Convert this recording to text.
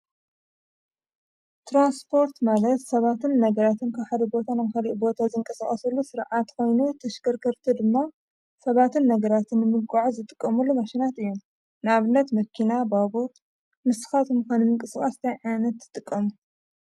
ትራንስፖርት ማለት ሰባትን ነገራትን ካብ ሓደ ቦታ ናብ ካሊእ ቦታ ንምንቅስቃስ ዝጥቀምሉ ሥርዓት ኾይኑ ተሽከርክርቲ ድማ ሰባትን ነገራትን ምጉዕዓዝ ዝጥቀምሉ ተሽከርከርቲ እዩም። ንኣብነት መኪና፣ ባቡር ንስካትኩም ከ ንምንቅስቃስ እንታይ ዓይነት ትጥቀሙ?